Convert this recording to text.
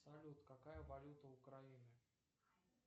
салют какая валюта украины